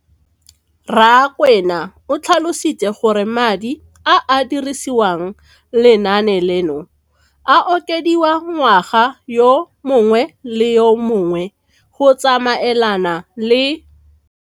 Rakwena o tlhalositse gore madi a a dirisediwang lenaane leno a okediwa ngwaga yo mongwe le yo mongwe go tsamaelana le